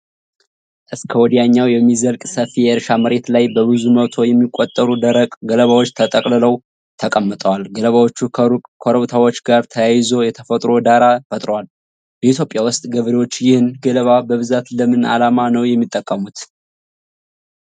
እስከ ወዲያኛው የሚዘልቅ ሰፊ የእርሻ መሬት ላይ በብዙ መቶ የሚቆጠሩ ደረቅ ገለባዎች ተጠቅልለው ተቀምጠዋል። ገለባዎቹ ከሩቅ ኮረብታዎች ጋር ተያይዞ የተፈጥሮ ዳራ ፈጥረዋል። በኢትዮጵያ ውስጥ ገበሬዎች ይህን ገለባ በብዛት ለምን ዓላማ ነው የሚጠቀሙት?